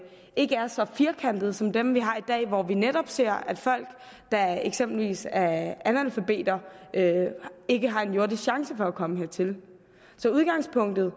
ikke er så firkantede som dem vi har i dag hvor vi netop ser at folk der eksempelvis er analfabeter ikke har en jordisk chance for at komme hertil så udgangspunktet